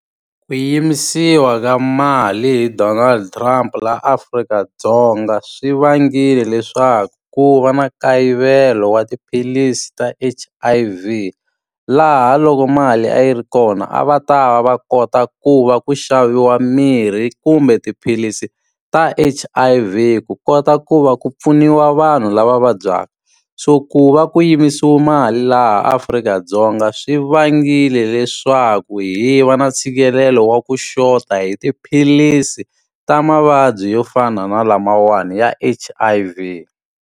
Ku yimisiwa ka mali hi Donald Trump laha Afrika-Dzonga swi vangile leswaku ku va na nkayivelo wa tiphilisi ta H_I_V. Laha loko mali a yi ri kona a va ta va va kota ku va ku xaviwa mirhi kumbe tiphilisi ta H_I_V, ku kota ku va ku pfuniwa vanhu lava vabyaka. So ku va ku yimisiwa mali laha Africa-Dzonga swi vangile leswaku hi va na ntshikelelo wa ku xota hi tiphilisi ta mavabyi yo fana na lamawani ya H_I_V.